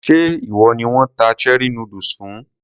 Ṣé ìwọ ni wón ta cherie noodles fún?